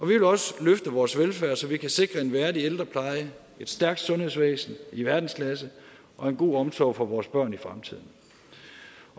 vi vil også løfte vores velfærd så vi kan sikre en værdig ældrepleje et stærkt sundhedsvæsen i verdensklasse og en god omsorg for vores børn i fremtiden